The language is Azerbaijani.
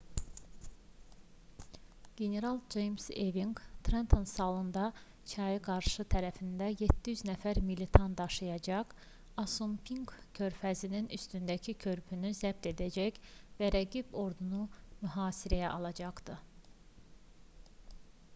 general ceyms eving trenton salında çayın qarşı tərəfinə 700 nəfər militan daşıyacaq assunpink körfəzinin üstündəki körpünü zəbt edəcək və rəqib ordunu mühasirəyə alacaqdı